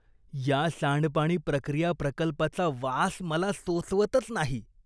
या सांडपाणी प्रक्रिया प्रकल्पाचा वास मला सोसवतच नाही.